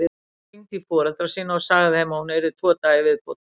Hún hringdi í foreldra sína og sagði þeim að hún yrði tvo daga í viðbót.